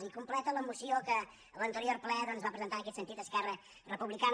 i completa la moció que a l’anterior ple va presentar en aquest sentit esquerra republicana